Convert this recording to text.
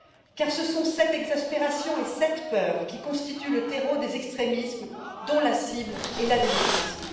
En effet, ce sont cette exaspération et cette peur qui constituent le terreau des extrémismes dont la cible est la démocratie.